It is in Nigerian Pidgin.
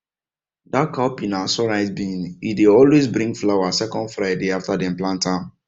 that cowpea na sunrise bean e dey always bring flower second friday after dem plant am